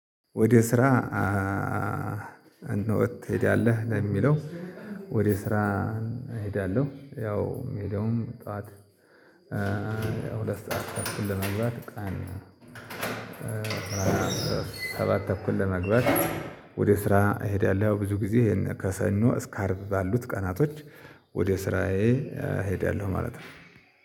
ወደ ስራ እንዴት ትሄዳለህ? ለሚለው ወደ ስራ እሄዳለሁ ያው የሚሄደውም ጠዋት ያው ሁለት ሰዓት ተኩል ለመግባት ቀን ሰባት ተኩል ለመግባት ወደ ስራ እሄዳለሁ ብዙ ጊዜ ከሰኖ እስከ አርብ ባሉት ቀናቶች ወደ ስራዬ እሄዳለሁ ማለት ነው